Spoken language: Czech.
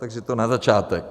Takže to na začátek.